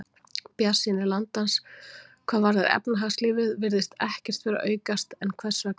Bjartsýni landans hvað varðar efnahagslífið virðist ekkert vera að aukast, en hvers vegna?